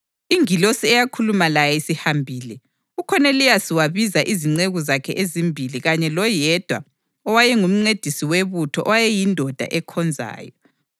Ingilosi eyakhuluma laye isihambile, uKhoneliyasi wabiza izinceku zakhe ezimbili kanye loyedwa owayengumncedisi webutho owayeyindoda ekhonzayo.